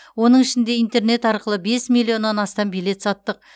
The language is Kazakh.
оның ішінде интернет арқылы бес миллионнан астам билет саттық